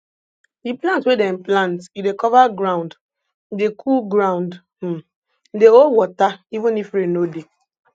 di plant wey dem plant e dey cover ground e dey cool ground um e dey hold water even if rain no dey